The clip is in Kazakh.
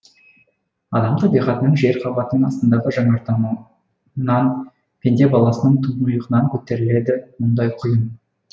адам табиғатының жер қабатының астындағы жанартауынан пенде баласының тұңғиығынан көтеріледі мұндай құйын